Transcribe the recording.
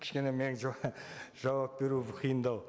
кішкене мен жауап беру қиындау